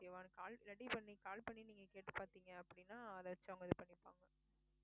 okay வா call ready பண்ணி call பண்ணி நீங்க கேட்டுப் பாத்தீங்க அப்படின்னா அதை வச்சு அவங்க இது பண்ணிப்பாங்க